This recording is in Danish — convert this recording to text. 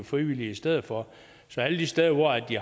frivillige i stedet for så alle de steder hvor de